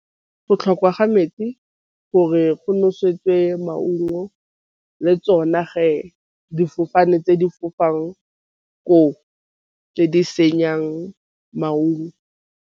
Go tlhokwa ga metsi gore go nosetswe maungo le tsona ge difofane tse di fofaneng ko tse di senyang maungo.